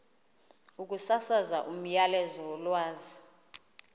ukusasaza umyalezo wolwazi